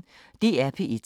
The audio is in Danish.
DR P1